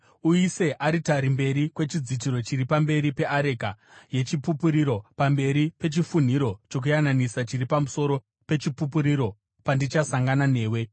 Uise aritari mberi kwechidzitiro chiri pamberi peareka yeChipupuriro, pamberi pechifunhiro chokuyananisa chiri pamusoro peChipupuriro, pandichasangana newe.